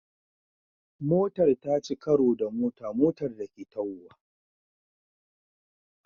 Motar ta ci karo da wata motar da Ke tahowa